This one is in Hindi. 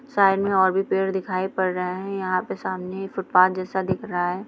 साइड में और भी पेड़ दिखाई पड़ रहे हैं| यहाँ पे सामने फुटपाथ जैसा दिख रहा है।